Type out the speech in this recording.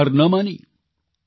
તેમણે હાર ન માની